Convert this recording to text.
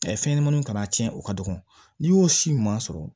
fɛn ɲɛnɛmaninw kana tiɲɛ o ka dɔgɔn n'i y'o si ɲuman sɔrɔ